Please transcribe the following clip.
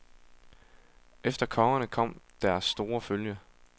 Efter kongerne kom deres store følge.